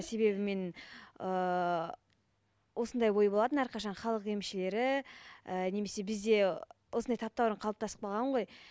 себебі мен ыыы осындай ой болатын әрқашан халық емшілері і немесе бізде осындай таптаурын қалыптастып қалған ғой